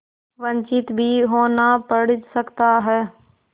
वंचित भी होना पड़ सकता है